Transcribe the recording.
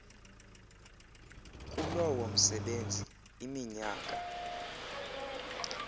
kulowo msebenzi iminyaka